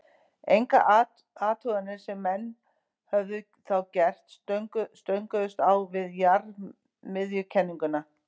engar athuganir sem menn höfðu þá gert stönguðust á við jarðmiðjukenninguna